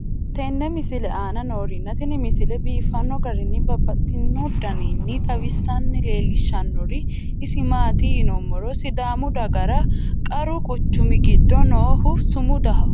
tenne misile aana noorina tini misile biiffanno garinni babaxxinno daniinni xawisse leelishanori isi maati yinummoro sidaamu dagara qaru quchummi giddo noohu sumudaho